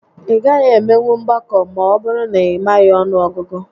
Ị gaghị emenwu mgbakọ ma ọbụrụ na ị maghị ọnụ ọgụgụ